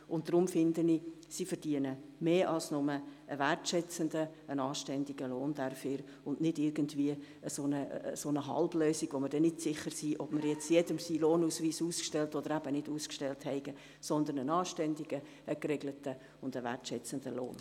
Deshalb finde ich, dass sie mehr als nur einen wertschätzenden, anständigen Lohn dafür erhalten sollen, und nicht nur irgendeine halbe Lösung, bei der wir nicht sicher sind, ob wir allen ihren Lohnausweis ausgestellt haben oder nicht, sondern einen anständigen, geregelten und wertschätzenden Lohn.